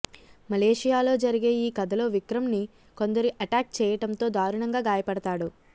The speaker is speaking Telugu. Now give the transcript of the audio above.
మలేషియాలో జరిగే ఈ కథలో విక్రమ్ ని కొందరు ఎటాక్ చేయటంతో దారుణంగా గాడపడతాడు